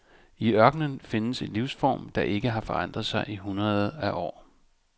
I ørkenen findes en livsform der ikke har forandret sig i hundreder af år.